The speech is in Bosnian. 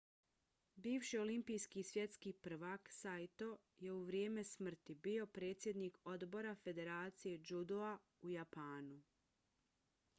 bivši olimpijski i svjetski prvak saito je u vrijeme smrti bio predsjednik odbora federacije džudoa u japanu